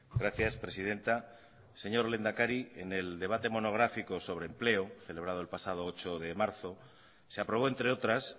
gracias presidenta señor lehendakari en el debate monográfico sobre empleo celebrado el pasado ocho de marzo se aprobó entre otras